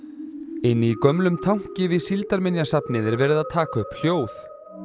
í gömlum tanki við Síldarminjasafnið er verið að taka upp hljóð